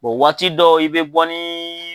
waati dɔ i bɛ bɔ ni